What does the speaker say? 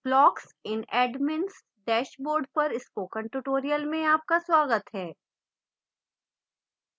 blocks in admin s dashboard पर spoken tutorial में आपका स्वागत है